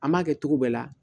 An m'a kɛ cogo bɛɛ la